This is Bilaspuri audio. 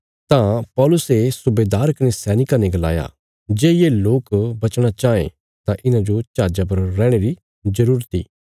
तां पौलुसे सुबेदार कने सैनिकां ने गलाया जे ये लोक बचणा चाँये तां इन्हांजो जहाजा पर रैहणे री जरूरत इ